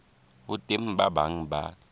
ho teng ba bang ba